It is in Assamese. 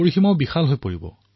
আপোনালোকৰ চিন্তনৰ বিস্তাৰ হব